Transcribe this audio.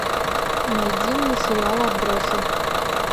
найди мне сериал отбросы